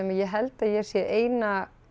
ég held að ég sé eina